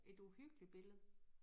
Et uhyggeligt billede